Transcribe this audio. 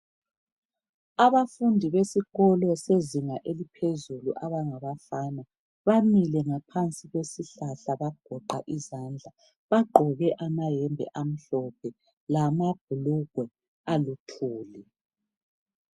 Abafundi besikolo sezinga eliphezulu abangabafana bamile ngaphansi kwesihlahla bagoqa izandla bagqoke amayembe amhlophe lamabhulugwe aluthuli.